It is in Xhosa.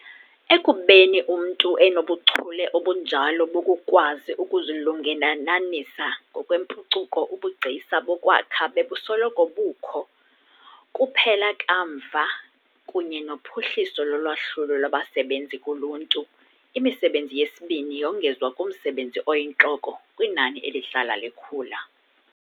Ekubeni umntu enobuchule obunjalo bokukwazi ukuzilungelelanisa ngokwempucuko, ubugcisa bokwakha bebusoloko bukho. Kuphela kamva, kunye nophuhliso lolwahlulo lwabasebenzi kuluntu, imisebenzi yesibini yongezwa kumsebenzi oyintloko kwinani elihlala likhula.